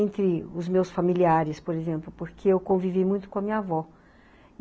Entre os meus familiares, por exemplo, porque eu convivi muito com a minha avó.